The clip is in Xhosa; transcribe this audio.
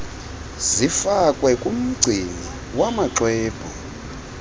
zifakwe kumgcini wamaxwebhu